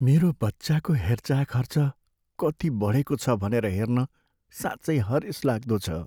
मेरो बच्चाको हेरचाह खर्च कति बढेको छ भनेर हेर्न साँच्चै हरेसलाग्दो छ।